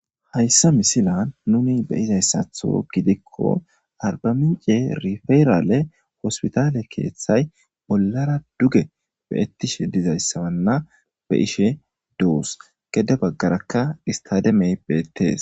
Hayssa misilan nuni be'izayssaththo gidikko arbamince rifeerale hospitaale keeththay bollara duge beettishshe dizayssabanna be'ishshe doos gede baggarakka istaademey beettees